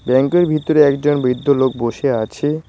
ব্যাংকের ভিতরে একজন বৃদ্ধ লোক বসে আছে।